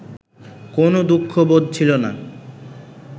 কোনো দুঃখবোধ ছিল না